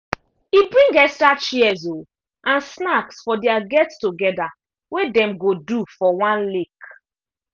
e bring extra chairs um and snacks for their get together wey them go do for one lake